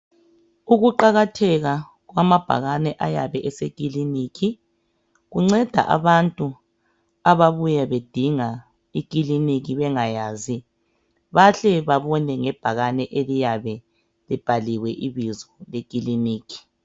Ukuqakatheka kwamabhakane ayabe esekiliniki kunceda abantu ababuya bedinga Ikilinika bengayazi bahle babone ngebhakane eliyane libhaliwe ibizo lekikiniki.